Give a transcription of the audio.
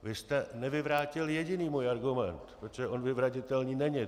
Vy jste nevyvrátil jediný můj argument, protože on vyvratitelný není.